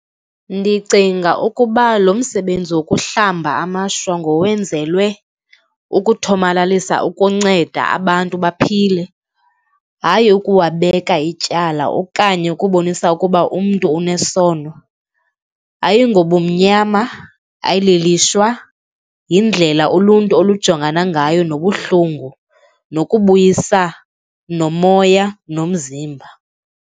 Ndicinga ukuba lo msebenzi wokuhlamba amashwa ngowenzelwe ukuthomalalisa ukunceda abantu baphile, hayi ukuwabeka ityala okanye ukubonisa ukuba umntu unesono. Ayingobumnyama, ayilolishwa, yindlela uluntu olujongana ngayo nobuhlungu, nokubuyisa nomoya nomzimba